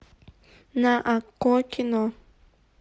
на окко кино